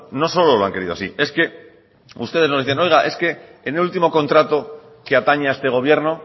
no solo lo han querido así es que ustedes nos dicen oiga es que en el último contrato que atañe a este gobierno